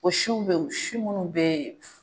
O siw be ye si munnu be yen